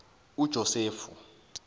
ujosefu